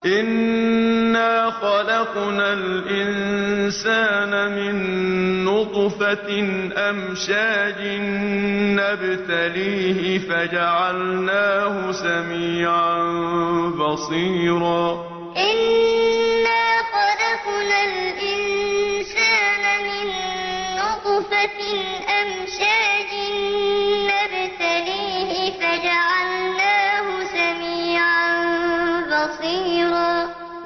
إِنَّا خَلَقْنَا الْإِنسَانَ مِن نُّطْفَةٍ أَمْشَاجٍ نَّبْتَلِيهِ فَجَعَلْنَاهُ سَمِيعًا بَصِيرًا إِنَّا خَلَقْنَا الْإِنسَانَ مِن نُّطْفَةٍ أَمْشَاجٍ نَّبْتَلِيهِ فَجَعَلْنَاهُ سَمِيعًا بَصِيرًا